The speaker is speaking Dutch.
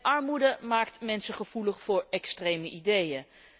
Armoede maakt mensen gevoelig voor extreme ideeën.